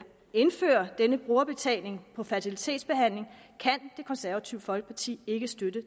indføre denne brugerbetaling for fertilitetsbehandling kan det konservative folkeparti ikke støtte